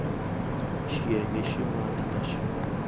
xiyenge xin wana na xin